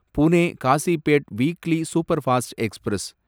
Pune Kazipet weekly superfast express